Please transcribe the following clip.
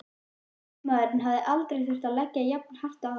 Þingmaðurinn hafði aldrei þurft að leggja jafn hart að sér.